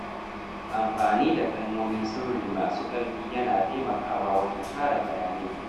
Amfani da kalmomin sirri masu ƙarfi yana taimakawa wajen kare bayanai.